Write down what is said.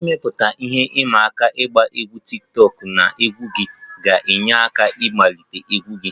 Ịmepụta ihe ịma aka ịgba egwu tiktokụ na egwu gị ga-enyere aka ịkwalite egwu gị